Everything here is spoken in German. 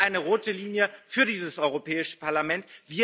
Das ist eine rote Linie für dieses Europäische Parlament.